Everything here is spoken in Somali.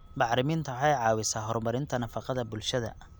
Bacriminta waxay caawisaa horumarinta nafaqada bulshada.